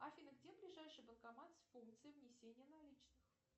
афина где ближайший банкомат с функцией внесения наличных